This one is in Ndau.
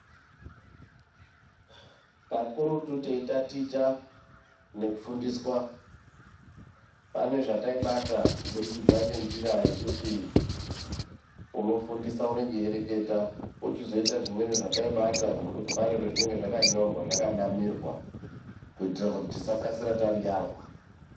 Kakurutu teitaticha nekufundiswa, pane zvetaibata kubudikidza ngenjira yekuti unofundisa unonga eireketa. Pochizoita zvimweni zvetaibata ngekuti pane pezvinonga zvakanyorwa zvakanamirwa kuitira kuti tisakasira tariyarwa.